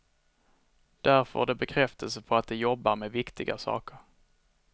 Där får de bekräftelse på att de jobbar med viktiga saker.